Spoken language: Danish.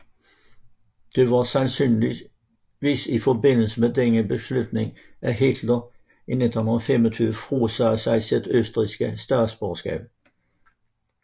Det var sandsynligvis i forbindelse med denne beslutning at Hitler i 1925 frasagde sig sit østrigske statsborgerskab